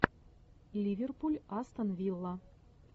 ливерпуль астон вилла